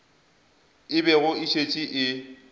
e bego e šetše e